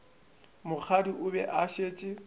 mokgadi o be a šetše